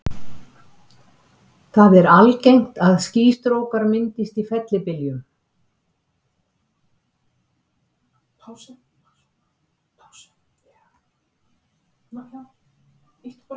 Það er algengt að skýstrókar myndist í fellibyljum.